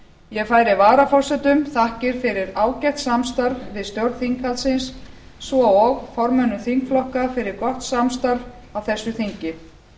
ég færi varaforsetum þakkir fyrir ágætt samstarf við stjórn þinghaldsins svo og formönnum þingflokka fyrir gott samstarf á þessu þingi